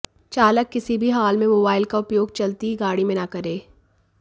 चालक किसी भी हाल में मोबाइल का उपयोग चलती गाड़ी में न करे